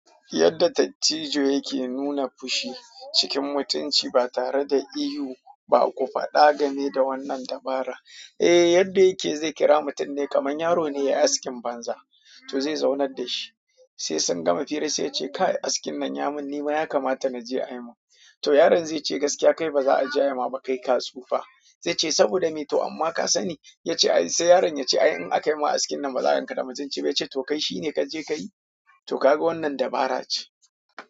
Yadda dattijo yake nuna fushi cikin mutunci ba tare da ihu ba. Ku faɗa game da wannan dabara. Eh, yadda yake zai kira mutum ne kamar yaro ne ya yi askin banza, to zai zaunar da shi. Sai sun gama fira sai ya ce "Kai askin nan ya mun, ni ma ya kamata na je a yi mun?" To yaron zai ce "Gaskiya kai baza aje a yi ma ba, kai ka tsufa." Zai ce "saboda me to? Amma ka sani?" Ya ce "Ai", sai yaron ya ce "Ai in akayi ma askin nan baza a ganka da mutun ci ba." Ya ce "to kai shi ne ka je ka yi." To kaga wannan dabara ce.